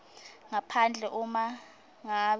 ngaphandle uma ngabe